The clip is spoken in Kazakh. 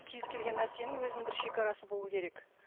кез келген нәрсенің өзінің бір шегарасы болуы керек